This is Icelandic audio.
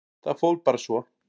Það fór bara svo.